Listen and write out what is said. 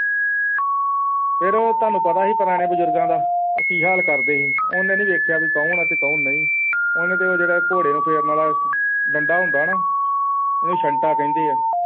ਫੇਰ ਤੁਹਾਨੂੰ ਪਤਾ ਸੀ ਪੁਰਾਣੇ ਬਜ਼ੁਰਗਾਂ ਦਾ ਉਹ ਕੀ ਹਾਲ ਕਰਦੇ ਸੀ ਉਹਨੇ ਨਹੀਂ ਦੇਖਿਆ ਕੀ ਕੌਣ ਹੈ ਤੇ ਕੌਣ ਨਹੀਂ ਉਹਨੇ ਤੇ ਉਹ ਜਿਹੜੇ ਘੋੜੇ ਨੂੰ ਫੇਰਨ ਵਾਲਾ ਡੰਡਾ ਹੁੰਦਾ ਨਾ ਉਹਨੂੰ ਛੱਡ ਤਾ ਕਹਿੰਦੇ ਆ